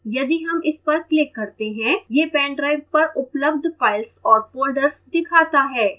यदि हम इस पर click करते हैं यह pendrive पर उपलब्ध files और folders दिखाता है